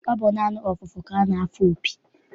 Ọ bụ naanị ọfụfụ ka a na-afụ opi.